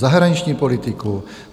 Zahraniční politiku?